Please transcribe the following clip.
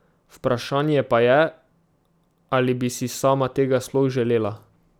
Vprašanje pa je, ali bi si sama tega sploh želela.